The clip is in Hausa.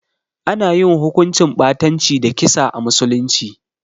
Ana yin hukuncin ɓatanci da kisa a musulunci.